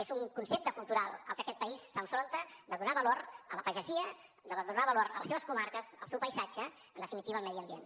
és un concepte cultural al que aquest país s’enfronta de donar valor a la pagesia de donar valor a les seves comarques al seu paisatge en definitiva al medi ambient